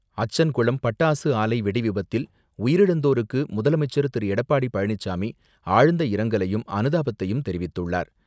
அச்சங்குளம் பட்டாசு ஆலை வெடிவிபத்தில் உயிரிழந்தோர்க்கு முதல்வர் திரு எடப்பாடி பழனிசாமி ஆழ்ந்த இரங்கலையும், அனுதாபத்தையும் தெரிவித்துள்ளார்.